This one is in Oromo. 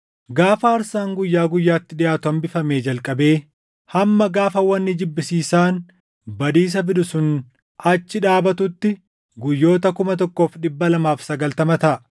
“Gaafa aarsaan guyyaa guyyaatti dhiʼaatu hambifamee jalqabee hamma gaafa wanni jibbisiisaan badiisa fidu sun achi dhaabatuutti guyyoota 1,290 taʼa.